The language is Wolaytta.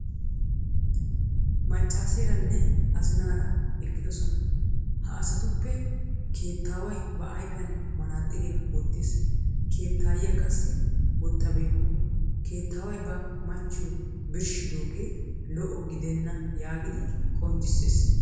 Maccaaseeranne azinaaraa eqqidosona. Ha asatuppe keettaaway ba ayfiyan manaaxxiriya wottiis. Keettaayyiya qassi wottabeykku. Keetaaway ba machchiyo birshshidoogee lo'o gidenna yaagidi qonccissees.